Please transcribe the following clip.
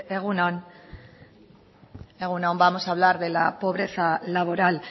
egun on vamos a hablar de la pobreza laboral